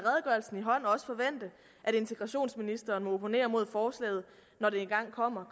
integrationsministeren må opponere mod forslaget når det engang kommer